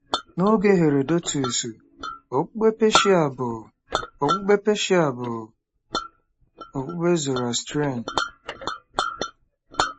N’oge Herodotus, okpukpe Peshia bụ okpukpe Peshia bụ okpukpe Zoroastrian.